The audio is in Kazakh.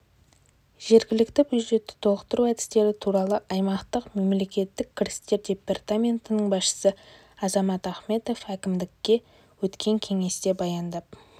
жергілікті бюджетті толықтыру әдістері туралы аймақтық мемлекеттік кірістер департаментінің басшысы азамат ахметов әкімдікте өткен кеңесте баяндап